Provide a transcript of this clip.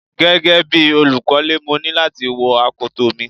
Gẹ́gẹ́ bí olùkọ́lè, mo ní láti wọ akoto mi.